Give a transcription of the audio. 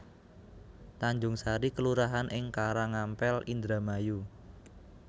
Tanjungsari kelurahan ing Karangampel Indramayu